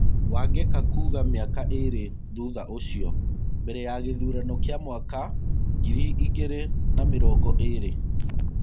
Wangeka kuuga mĩaka ĩrĩ thutha ũcio, mbere ya gĩthurano kĩa mwaka ngiri igĩrĩ na mĩrongo ĩrĩ.